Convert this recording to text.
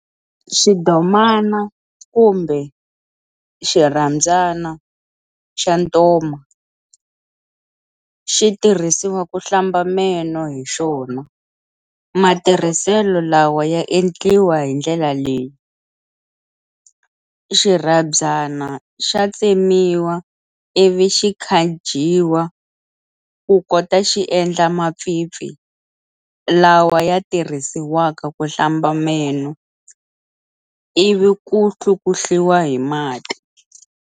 Xidomana kumbe xirhandzana xa ntoma xi tirhisiwa ku hlamba meno hi xona, matirhiselo lawa ya endliwa hi ndlela leyi-xirhabyana xa tsemiwa ivi xi khajiwa ku kota xi endla mapfimpfi lwala ya tirisiwaka ku hlamba meno ivi ku hlukuhliwa hi mati.